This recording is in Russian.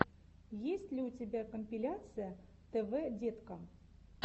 есть ли у тебя компиляция тв деткам